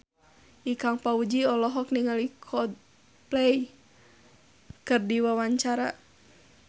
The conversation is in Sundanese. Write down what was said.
Ikang Fawzi olohok ningali Coldplay keur diwawancara